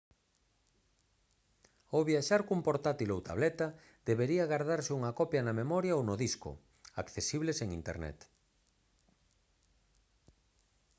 ao viaxar cun portátil ou tableta debería gardarse unha copia na memoria ou no disco accesible sen internet